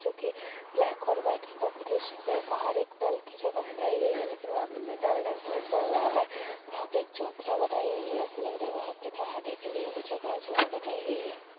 जो कि ब्लैक और वाइट के कॉम्बिनेशन में है| बाहर एक नल की जगह बनाई गई है लेकिन वहाँ पे कोई नल नहीं नज़र आ रहा है| वहाँ पे एक चौतरा बनाई गई है| ऐसा लग रहा है वहाँ पर नहाने के लिए वो जगह जो है बनाई गई है।